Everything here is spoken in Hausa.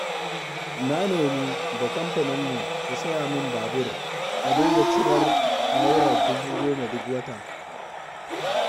Na nemi da kamfaninmu su saya min babur, a dinga cirar Naira dubu goma duk wata.